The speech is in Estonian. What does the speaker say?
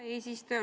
Hea eesistuja!